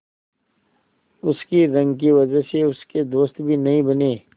उसकी रंग की वजह से उसके दोस्त भी नहीं बने